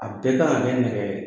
A bɛɛ ka kan ka kɛ nɛgɛ